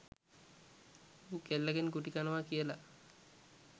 ඌ කෙල්ලගෙන් ගුටිකනවා කියලා